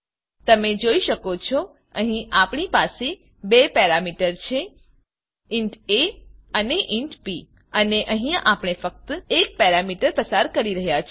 તમે જોઈ શકો છો અહીં આપણી પાસે બે પેરામીટર છે ઇન્ટ એ અને ઇન્ટ બી અને અહીંયા આપણે ફક્ત એક પેરામીટર પસાર કરી રહ્યા છે